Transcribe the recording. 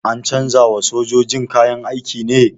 An canza wa sojojin kayan aiki ne?